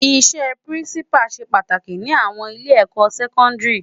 Isè Pirinsipá sé pàtáki ni áwòn ilé èkò sèkòndiri